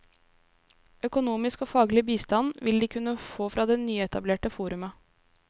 Økonomisk og faglig bistand vil de kunne få fra det nyetablerte forumet.